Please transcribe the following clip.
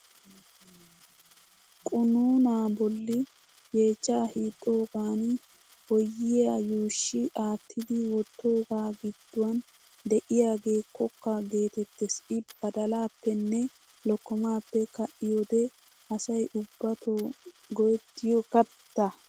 Qunuunaa bolli yeechchaa hiixxoogan boyyiyaa yuushshi aattidi wottoogaa gidduwan diyaage kokka geetettes. I badalaappenne lokkomaappe ka"iyoode asay ubbato go"ettiyo katta.